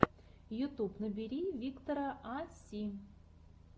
ютьюб набери виктора а си